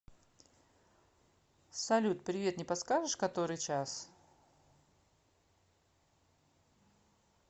салют привет не подскажешь который час